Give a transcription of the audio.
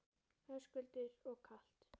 Höskuldur: Og kalt?